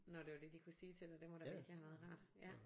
Når det var det de kunne sige til dig det må da virkelig have været rart ja